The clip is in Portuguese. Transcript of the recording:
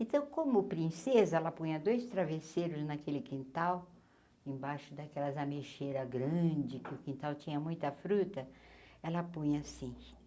Então, como princesa, ela punha dois travesseiros naquele quintal, embaixo daquelas ameixeiras grandes, que o quintal tinha muita fruta, ela punha assim.